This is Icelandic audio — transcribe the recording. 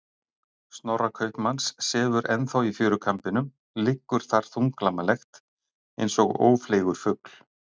Snorra kaupmanns sefur ennþá í fjörukambinum, liggur þar þunglamalegt, eins og ófleygur fugl.